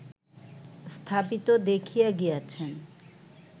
স্থাপিত দেখিয়া গিয়াছেন